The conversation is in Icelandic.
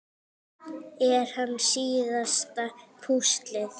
Er hann síðasta púslið?